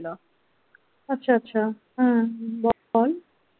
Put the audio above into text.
আচ্ছা আচ্ছ হম বল।